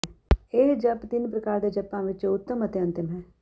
ਇਹ ਜਪ ਤਿੰਨ ਪ੍ਰਕਾਰ ਦੇ ਜਪਾਂ ਵਿਚੋਂ ਉਤਮ ਅਤੇ ਅੰਤਿਮ ਹੈ